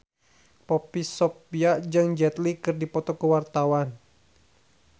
Poppy Sovia jeung Jet Li keur dipoto ku wartawan